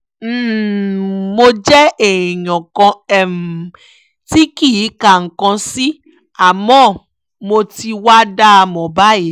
um mo jẹ́ èèyàn kan um tí kì í ka nǹkan sí àmọ́ mo ti wáá dá a mọ̀ báyìí